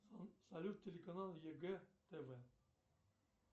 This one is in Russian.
салют телеканал егэ тв